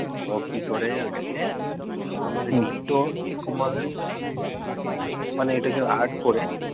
ও কি করে ওইটা কে